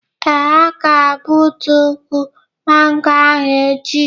Ee, a ga egbutu ụkwụ mango ahu echi